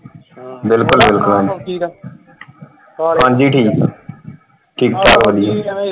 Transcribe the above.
ਬਿਲਕੁਲ ਬਿਲਕੁਲ ਹਾਂਜੀ ਠੀਕ ਠੀਕ ਠਾਕ।